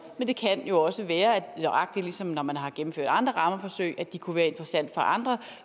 men det kan jo også være at de nøjagtig som når man har gennemført andre rammeforsøg kunne være interessante for andre